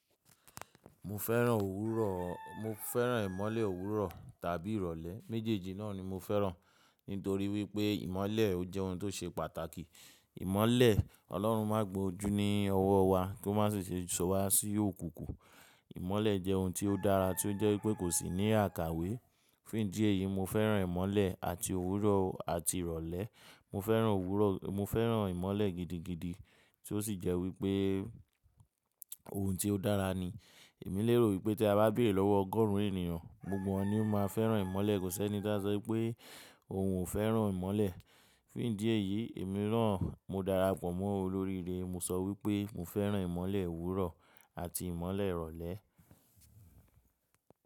Mo fẹ́ràn òwúrọ̀, mo fẹ́ràn ìmọ́lẹ̀ òwúrọ̀ tàbí ìrọ̀lẹ́. Méjèèjì náà ni mo fẹ́ràn. Nítorí wípé ìmọ́lẹ̀ ó jẹ́ ohun tó ṣe pàtàkì. Ìmọ́lẹ̀, Ọlọ́run má gba ojú ní ọwọ́ wa kó má ṣe ṣiṣe sọ wa sí òkùnkùn. Ìmọ́lẹ̀ jẹ́ ohun tí ó dára tí ó jẹ́ wípé kò sì ní àkàwé. Fún ìdí èyí, mo fẹ́ràn ìmọ́lẹ̀ àti òwúrọ̀ àti ìrọ̀lẹ́. Mo fẹ́ràn òwúrọ̀, mo fẹ́ràn ìmọ́lẹ̀ gidigidi tí ó sì jẹ́ wípé ohun tí ó dára ni. Èmi lérò wípé tí a bá béèrè lọ́wọ́ ọgọ́rùn ènìyàn, gbogbo wọn ni ó máa fẹ́ràn ìmọ́lẹ̀. Kò sí ẹni tí a sọ wípé òun ò fẹ́ràn ìmọ́lẹ̀. Fún ìdí èyí, èmi na, mo darapọ̀ mọ́ olórí ire, mo sọ wípé mo fẹ́ràn ìmọ́lẹ̀ òwúrọ̀ àti ìmọ́lẹ̀ ìrọ̀lẹ́